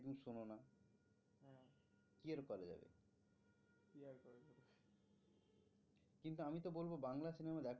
কিন্তু আমি তো বলবো বাংলা সিনেমা দেখো।